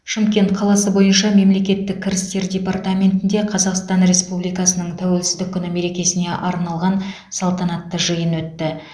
шымкент қаласы бойынша мемлекеттік кірістер департаментінде қазақстан республикасының тәуелсіздік күні мерекесіне арналған салтанатты жиын өтті